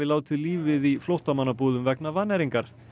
létu lífið í flóttamannabúðum vegna vannæringar